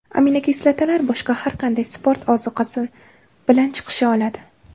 Aminokislotalar boshqa har qanday sport ozuqasi bilan chiqisha oladi.